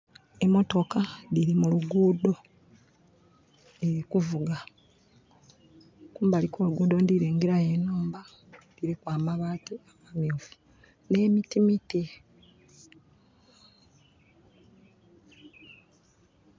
Mmotooka dhiri mu luguudho diri kuvuga. Kumbali kwo luguudho ndhirengera yo enhumba dhiriku amabaati amamyufu ne mitimiti.